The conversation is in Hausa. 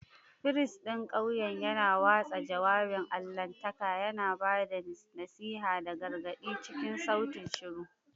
Firist ɗin ƙauyen yana watsa jawabin allahntaka, yana ba da nasiha da gargaɗi cikin sautin shiru.